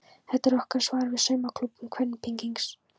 Þetta er okkar svar við saumaklúbbum kvenpeningsins.